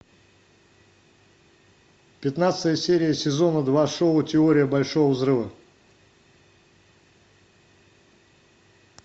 пятнадцатая серия сезона два шоу теория большого взрыва